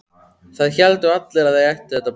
Það héldu allir að þau ættu þetta barn.